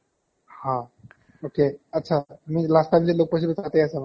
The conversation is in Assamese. হা, okay আটচা means last time যে লগ পাইছিলো তাতে আছা মানে